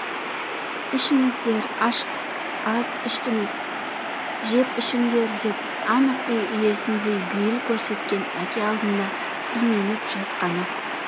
ішіңіздер аз іштіңіз жеп ішіңдер деп анық үй иесіндей бейіл көрсеткен әке алдында именіп жасқанып